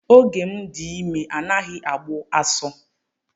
Oge m dị ime anaghị agbu asụ.